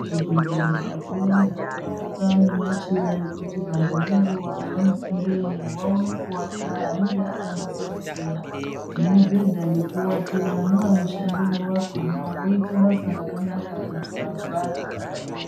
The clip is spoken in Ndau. Zvibhedhlera zvakawanda zvobekwa nemachira ekuti vantu ngenguwa yavanopindemwo vaone kuwata. Anenge akanasa kuchena nemibhedha yekuwatira. Nevanoshandemwo vakhona voite basa rakanaka kuti vantu vawate pakanaka.